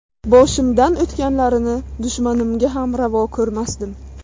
Boshimdan o‘tganlarini dushmanimga ham ravo ko‘rmasdim.